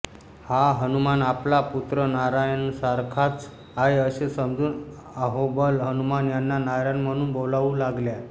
हा हनुमान आपला पुत्र नारायणासारखाच आहे असे समजून अहोबल हनुमान यांना नारायण म्हणून बोलावू लागल्या